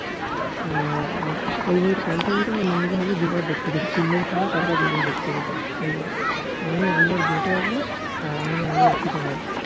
আর panther বই তা লুঙ্গি হল দু বার দেখতে গিয়েছি তিন দিন ছাড়া পর পর দু দিন দেখতে গিয়েছি দু বার আমি আলু আর বেটে একবার আর আমি আলু আর প্রীতম একবার